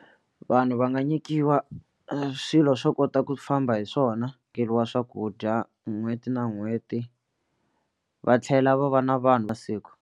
Vanhu va nga nyikiwa swilo swo kota ku famba hi swona swakudya n'hweti na n'hweti va tlhela va va na vanhu masiku.